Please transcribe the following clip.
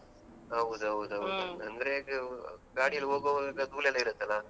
ಹೌದು ಹೌದು ಹೌದು ಅಂದ್ರೆ ಇದು ಗಾಡಿಯಲ್ಲಿ ಹೋಗುವಾಗ ಧೂಳೆಲ್ಲಾ ಇರತ್ತಲಾ.